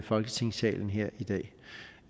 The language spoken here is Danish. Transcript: folketingssalen her i dag